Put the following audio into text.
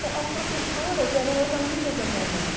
Bom, as professoras eram as amigas da minha mãe.